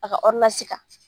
A ka kan